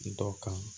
Dɔ kan